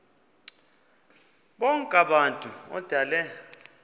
bonk abantu odale